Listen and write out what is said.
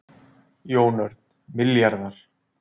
Jón Örn: Milljarðar?